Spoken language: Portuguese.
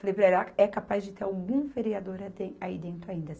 Falei para ela, é capaz de ter algum vereador aí dentro ainda.